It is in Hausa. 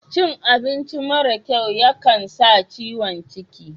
Cin abinci mara kyau ya kan sa ciwon cikin.